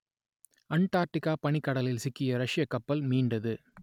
அண்டார்க்டிக்கா பனிக்கடலில் சிக்கிய ரஷ்யக் கப்பல் மீண்டது